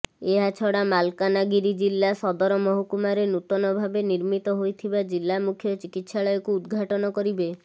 ଏହାଛଡା ମାଲକାନାଗିରି ଜିଲ୍ଲା ସଦରମହକୁମାରେ ନୂତନଭାବେ ନିର୍ମିତ ହୋଇଥିବା ଜିଲ୍ଲା ମୁଖ୍ୟ ଚିକିତ୍ସାଳୟକୁ ଉଦ୍ଘାଟନ କରିବେ